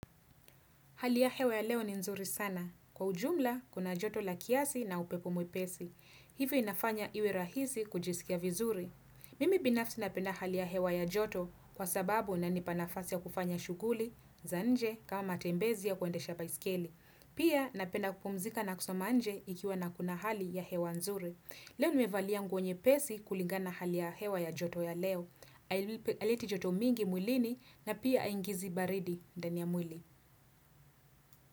Hali ya hewa ya leo ni nzuri sana. Kwa ujumla, kuna joto la kiasi na upepo mwepesi. Hivyo inafanya iwe rahisi kujisikia vizuri. Mimi binafsi napenda hali ya hewa ya joto kwa sababu inanipa nafasi ya kufanya shuguli, za nje, kama matembezi ya kuendesha baiskeli. Pia napenda kupumzika na kusoma nje ikiwa na kuna hali ya hewa nzuri. Leo nimevalia nguo nyepesi kulingana hali ya hewa ya joto ya leo. Aileiti joto mingi mwilini na pia aingizi baridi ndani ya mwili.